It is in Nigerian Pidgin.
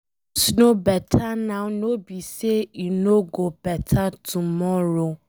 Things no beta now no be say e no go beta tomorrow.